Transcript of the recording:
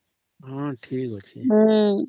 ହଁ ଠିକ ଅଛି